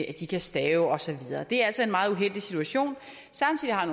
at de kan stave og så videre det er altså en meget uheldig situation samtidig har